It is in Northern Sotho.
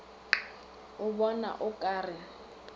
o bona o ka re